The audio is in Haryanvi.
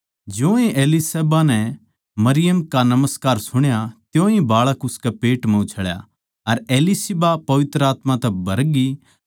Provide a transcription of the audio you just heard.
ज्योए एलीशिबा नै मरियम का नमस्कार सुण्या त्योंए बाळक उसके पेट म्ह उछळ्या अर एलीशिबा पवित्र आत्मा तै भरगी